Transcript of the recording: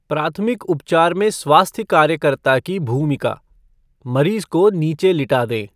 प्राथमिक उपचार में स्वास्थ्य कार्यकर्ता की भूमिका मरीज को नीचे लिटा दें।